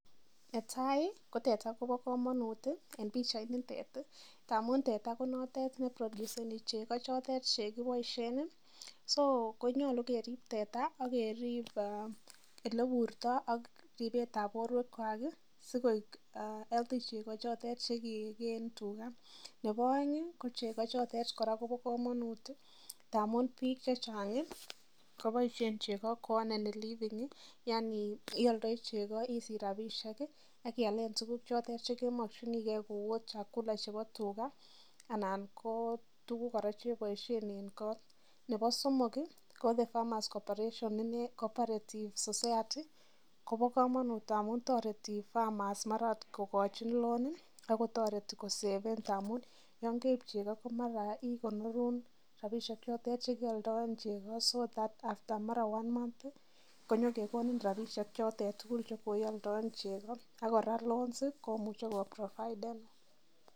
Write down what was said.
Netai ko teta kobokomonut en pichainitet ndamun teta konotet neproduseni cheko chote chekiboisien so konyolu kerip teta akerip ele burto ak ripetab borwekwak sikoik healthy cheko choto chekekee en tuka ,nebo aeng kocheko chotet kobokomonut ndamun biik chechang koboisien cheko koanenin living yaani ialdoi cheko isich rapisiek akialen tukuk choto chekemokyinike kou ot chakula chepo tuka ana ko tukuk kora cheboisien en kot, Nebo somok ko the 'farmers cooperations cooperative society' kobokomonut ndamun toreti farmers mara ot kokochi loan akotoreti koseven ndamun yongeip cheko komara kekonur rapisiek chotet chekealdoen cheko[cs so that after mara one month konyokekoni rapisiek chote tugul chekoialdoen cheko akora loans komuche koprovidenin.